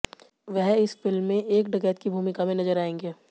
वह इस फिल्म में एक डकैत की भूमिका में नजर आएंगे